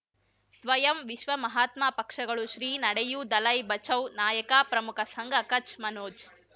ಸ್ವಯಂ ವಿಶ್ವ ಮಹಾತ್ಮ ಪಕ್ಷಗಳು ಶ್ರೀ ನಡೆಯೂ ದಲೈ ಬಚೌ ನಾಯಕ ಪ್ರಮುಖ ಸಂಘ ಕಚ್ ಮನೋಜ್